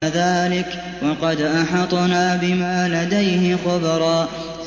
كَذَٰلِكَ وَقَدْ أَحَطْنَا بِمَا لَدَيْهِ خُبْرًا